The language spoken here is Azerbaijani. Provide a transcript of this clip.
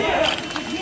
Bir daha.